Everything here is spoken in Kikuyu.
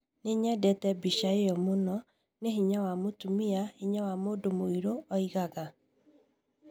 "Nĩ nyendete mbica ĩyo mũno, nĩ hinya wa mũtumia, hinya wa mũndũ mũirũ", oigaga.